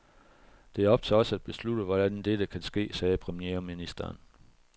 Det er op til os at beslutte, hvordan dette kan ske, sagde premierministeren.